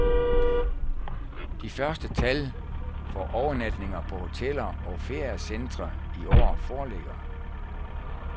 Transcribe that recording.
De første tal for overnatninger på hoteller og feriecentre i år foreligger.